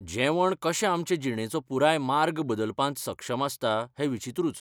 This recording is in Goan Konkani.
जेवण कशें आमचे जीणेचो पुराय मार्ग बदलपांत सक्षम आसता हें विचित्रूच.